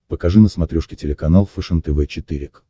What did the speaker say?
покажи на смотрешке телеканал фэшен тв четыре к